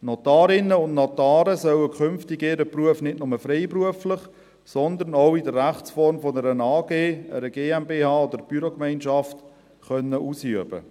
Die Notarinnen und Notare sollen künftig ihren Beruf nicht nur freiberuflich, sondern auch in der Rechtsform einer AG, einer GmbH oder einer Bürogemeinschaft ausüben können.